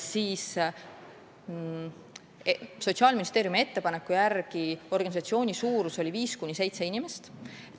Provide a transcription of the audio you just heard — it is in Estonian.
Sotsiaalministeeriumi ettepaneku järgi on organisatsiooni suurus 5–7 inimest.